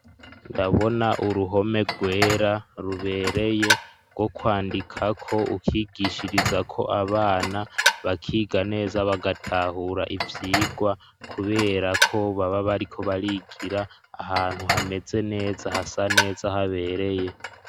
Ndabona uruhome rwera rubereye, rwo kwandikako ukigishirizako abana, bakiga neza bagatahura ivyigwa kubera ko baba bariko barigira ahantu hameze neza hasa neza habereye.